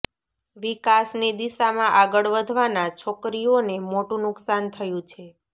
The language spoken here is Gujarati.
વિકાસની દિશામાં આગળ વધવાના છોકરીઓને મોટું નુકસાન થયું છે